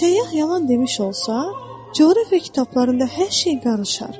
Səyyah yalan demiş olsa, coğrafiya kitablarında hər şey qarışar.